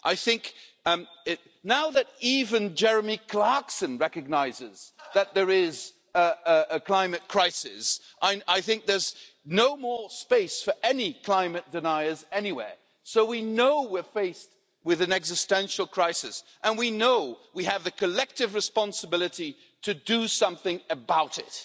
I think now that even Jeremy Clarkson recognises that there is a climate crisis, I think there's no more space for any climate deniers anywhere. So we know we're faced with an existential crisis and we know we have the collective responsibility to do something about it.